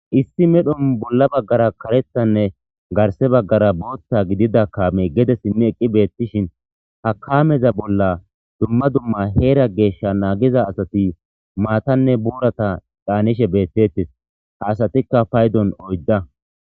Issi medhon bolla bagara karethanne garsse bagara booththa gidida kaamey gede simi eqi betishin ha kameza bolla dumma dumma heera geesha nagiza asati maatanne boorata canishe beetetees ha asatikka paydon oydda.